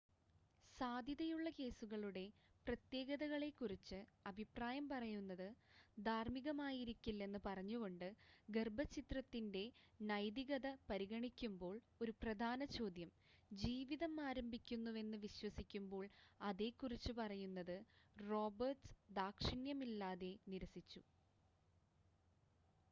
സാധ്യതയുള്ള കേസുകളുടെ പ്രത്യേകതകളെ കുറിച്ച് അഭിപ്രായം പറയുന്നത് ധാർമ്മികമായിരിക്കില്ലെന്ന് പറഞ്ഞുകൊണ്ട് ഗർഭച്ഛിദ്രത്തിൻ്റെ നൈതികത പരിഗണിക്കുമ്പോൾ ഒരു പ്രധാന ചോദ്യം ജീവിതം ആരംഭിക്കുന്നുവെന്ന് വിശ്വസിക്കുമ്പോൾ അതേക്കുറിച്ച് പറയുന്നത് റോബർട്ട്സ് ദാക്ഷിണ്യമില്ലാതെ നിരസിച്ചു